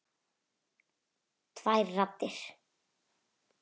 Tvær raddir.